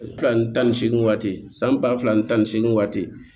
Tilan tan ni seegin waati san ba fila ni tan ni seegin waati